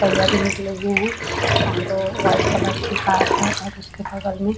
पहिया भी निकले हुए है और व्हाइट कलर की कार है और उसके बगल में--